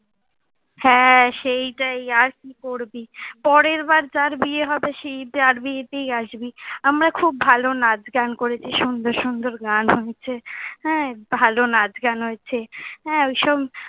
হ্যাঁ, সেইটাই আর কি করবি। পরের বার যার বিয়ে হবে সেই যার বিয়েতেই আসবি। আমরা খুব ভালো নাচ গান করেছি, সুন্দর সুন্দর গান হয়েছে, হ্যাঁ ভালো নাচ গান হয়েছে। হ্যাঁ ওইসব,